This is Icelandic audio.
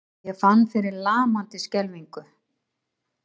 Ég fann fyrir lamandi skelfingu.